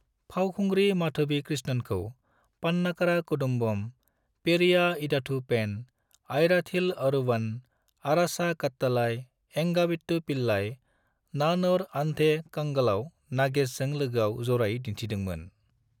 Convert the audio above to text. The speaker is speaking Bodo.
फावखुंग्रि माधवी कृष्णनखौ 'पन्नाकारा कुदुम्बम', 'पेरिया इडाथू पेन', 'आयराथिल ओरूवन', 'अरासा कट्टालाई', 'एंगा वीट्टू पिल्लई', 'नान और अंधे कंगल'आव नागेशजों लोगोआव जरायै दिन्थिदोंमोन।